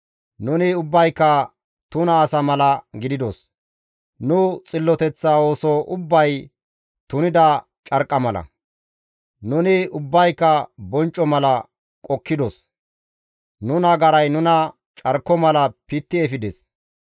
Nuni ubbayka tuna asa mala gididos; nu xilloteththa ooso ubbay tunida carqqa mala. Nuni ubbayka boncco mala qokkidos; nu nagaray nuna carko mala pitti efides.